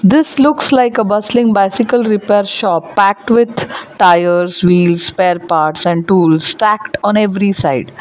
this looks like a bustling bicycle repair shop packed with tyres wheels spare parts and tools stacked on every side.